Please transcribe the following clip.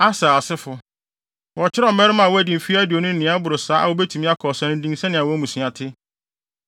Aser asefo: Wɔkyerɛw mmarima a wɔadi mfe aduonu ne nea ɛboro saa a wobetumi akɔ ɔsa no din sɛnea wɔn mmusua te.